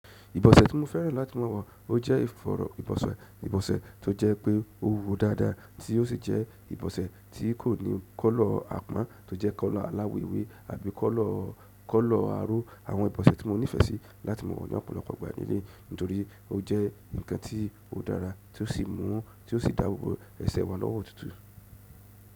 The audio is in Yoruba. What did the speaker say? Ìbọ̀sẹ̀ tí mo fẹ́ràn láti mọ̀ ọ wọ̀ ọ jẹ́ ìfọ̀rọ̀ ìbọ̀sẹ̀, ìbọ̀sẹ̀ tó jẹ́ pé ó wúwọ dáadáa tí ó sì jẹ́ ìbọ̀sẹ̀ tí kò ní kọ́lọ̀ àpọ́n tó jẹ́ kọ́lọ̀ aláwọ̀ ewé àbí kọ́lọ̀, kọ́lọ̀ aró. Àwọn ìbọ̀sẹ̀ tí mo nífẹ̀ẹ́ sí láti mọ̀ ọ ní ọ̀pọ̀lọpọ̀ ìgbà nílé, nítorí ó jẹ́ ǹkan tí ó dára tí ó sì mú, tí ó sì dáàbò bò ẹsẹ̀ wa lọ́wọ́ òtútù.